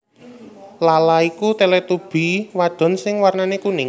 Laa Laa iku Teletubby wadon sing warnané kuning